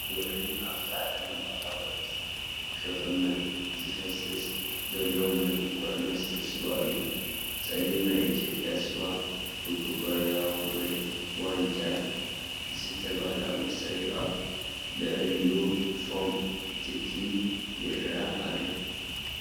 ውዑይን ኣብ ዝተዐጠነ ባህላዊ ዕትሮ ክቕመጥ ዝፈሰስ ዘሎ ምልኩዕ መስተ ስዋ እዩ፡፡ ጸሊም ናይ ኢትዮጵያ ስዋ ብኩባያወይ ብዋንጫ ዝስተይ ባህላዊ መስተ እዩ። ኣብ ልዕሊኡ ፎም /ትኪ ይረአ ኣሎ።